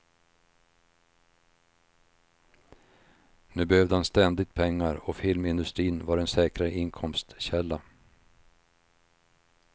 Nu behövde han ständigt pengar och filmindustrin var en säkrare inkomstkälla.